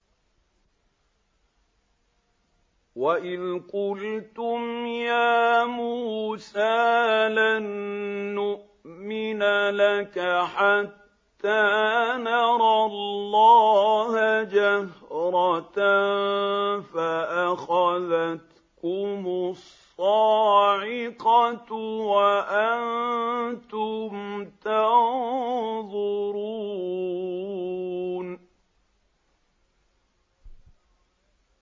وَإِذْ قُلْتُمْ يَا مُوسَىٰ لَن نُّؤْمِنَ لَكَ حَتَّىٰ نَرَى اللَّهَ جَهْرَةً فَأَخَذَتْكُمُ الصَّاعِقَةُ وَأَنتُمْ تَنظُرُونَ